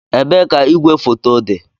Ebee ka igwefoto dị?